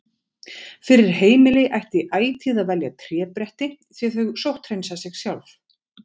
Fyrir heimili ætti ætíð að velja trébretti því þau sótthreinsa sig sjálf.